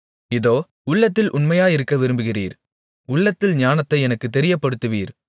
இதோ உள்ளத்தில் உண்மையிருக்க விரும்புகிறீர் உள்ளத்தில் ஞானத்தை எனக்குத் தெரியப்படுத்துவீர்